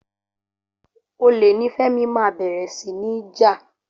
Olè ni Fẹ́mi máa bẹ̀rẹ̀ sí ní jà.